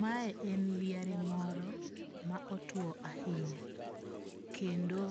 Ma e en liare moro ma otuo ahinya. Kendo